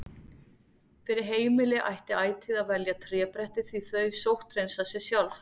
Fyrir heimili ætti ætíð að velja trébretti því þau sótthreinsa sig sjálf.